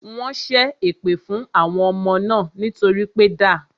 Wọ́n ṣé èpè fún àwọn ọmọ náà nítorí pé da